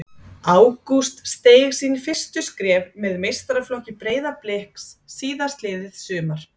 Ágúst steig sín fyrstu skref með meistaraflokki Breiðabliks síðastliðið sumar.